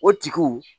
O tigiw